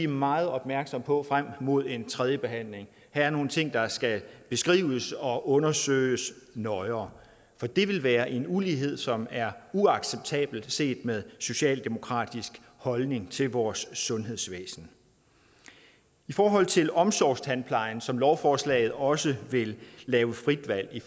meget opmærksomme på frem mod en tredje behandling her er nogle ting der skal beskrives og undersøges nøjere for det vil være en ulighed som er uacceptabel set med socialdemokratiske holdning til vores sundhedsvæsen i forhold til omsorgstandplejen som lovforslaget også vil lave frit valg i